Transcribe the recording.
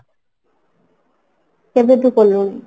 କେବେ ଠୁ କଲୁଣି?